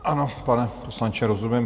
Ano, pane poslanče, rozumím.